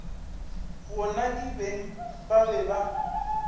gona kibeng ba be ba